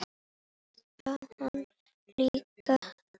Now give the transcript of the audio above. Það vann hann líka.